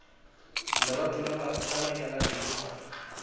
lerato la banyalani le sa